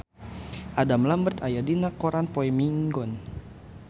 Adam Lambert aya dina koran poe Minggon